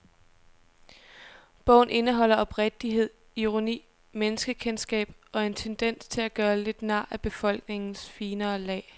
Bogen indeholder oprigtighed, ironi, menneskekendskab og en tendens til at gøre lidt nar af befolkningens finere lag.